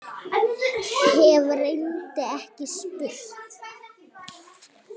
Hef reyndar ekki spurt.